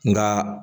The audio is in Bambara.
Nka